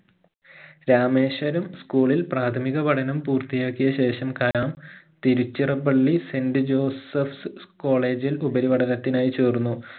Rameswaram school ഇൽ പ്രാഥമിക പഠനം പൂർത്തിയാക്കിയ ശേഷം Kalam Tiruchirappalli saint josephs college ൽ ഉപരിപഠനത്തിനായി ചേർന്നു